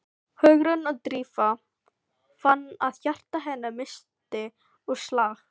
Hugrún og Drífa fann að hjarta hennar missti úr slag.